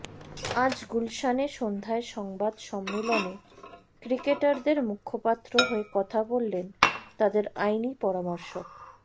আজ গুলশানে সন্ধ্যায় সংবাদ সম্মেলনে ক্রিকেটারদের মুখপাত্র হয়ে কথা বললেন তাদের আইনি পরামর্শক